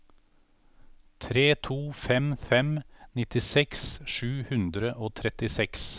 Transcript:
tre to fem fem nittiseks sju hundre og trettiseks